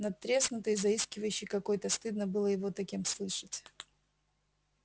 надтреснутый заискивающий какой-то стыдно было его таким слышать